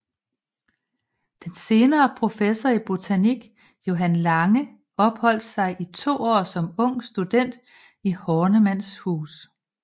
Den senere professor i botanik Johan Lange opholdt sig i to år som ung student i Hornemanns hus